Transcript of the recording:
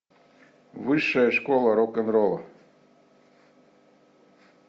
высшая школа рок н ролла